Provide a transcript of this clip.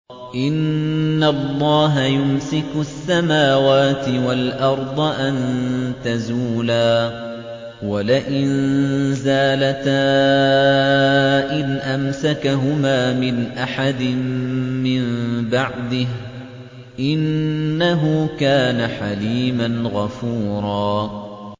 ۞ إِنَّ اللَّهَ يُمْسِكُ السَّمَاوَاتِ وَالْأَرْضَ أَن تَزُولَا ۚ وَلَئِن زَالَتَا إِنْ أَمْسَكَهُمَا مِنْ أَحَدٍ مِّن بَعْدِهِ ۚ إِنَّهُ كَانَ حَلِيمًا غَفُورًا